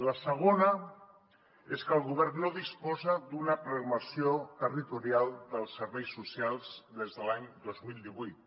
la segona és que el govern no disposa d’una plasmació territorial dels serveis socials des de l’any dos mil divuit